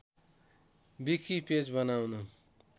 wiki page बनाउन